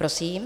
Prosím.